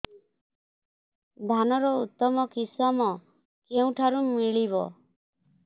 ଧାନର ଉତ୍ତମ କିଶମ କେଉଁଠାରୁ ମିଳିବ